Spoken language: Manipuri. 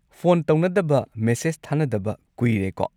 ꯐꯣꯟ ꯇꯧꯅꯗꯕ ꯃꯦꯁꯦꯖ ꯊꯥꯅꯗꯕ ꯀꯨꯏꯔꯦꯀꯣ꯫